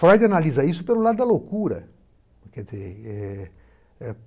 Freud analisa isso pelo lado da loucura, quer dizer, eh